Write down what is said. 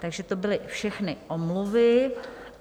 Takže to byly všechny omluvy.